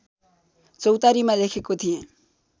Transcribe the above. चौतारीमा लेखेको थिएँ